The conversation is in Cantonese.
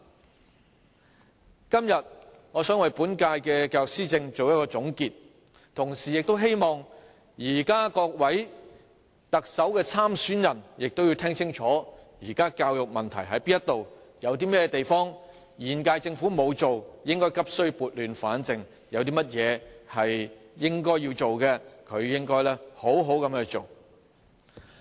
我今天想為本屆政府的教育施政作一總結，同時希望各位特首參選人聽清楚現時教育問題何在，有哪些是現屆政府沒有做的，急需撥亂反正；有哪些應該要做的，便應好好去做。